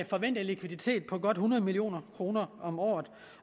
forventet likviditet på godt hundrede million kroner om året